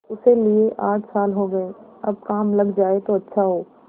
उसे लिये आठ साल हो गये अब काम लग जाए तो अच्छा हो